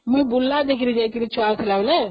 ମୁଁ ବୁର୍ଲା ଦେଇକି ଯାଇଥିଲି ଛୁଆଟେ ଥିଲାବେଳେ